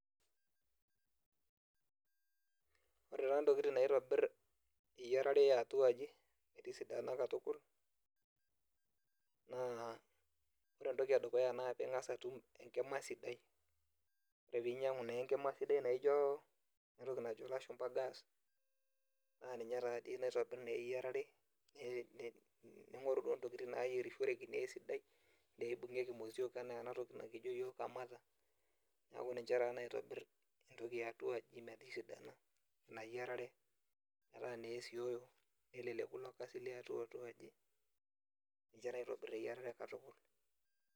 Ore taantokitin naitobir eyiarare eatu aje metisidana katukul naa ore entoki edukuya ma pingasa atum enkima sidai, ore peinyangu naa enkim sidai anaa enatoki najo lashumba gas nannimye naa naitobir eyiarare ningoru duo nitokini niatobiru eyoareru peibungieki motiok anaa enatoki nikijo yiok kamata, neaku ninche entoki eatuaji metisidana inayierare, metaa naa esioiuo, ijo aitobir eyiarare katukul.